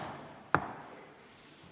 Istungi lõpp kell 16.38.